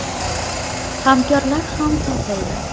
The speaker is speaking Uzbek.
Hamkorlar ham topildi.